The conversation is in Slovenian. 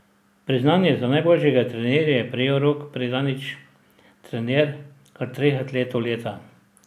Priznanje za najboljšega trenerja je prejel Rok Predanič, trener kar treh atletov leta.